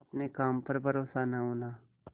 अपने काम पर भरोसा न होना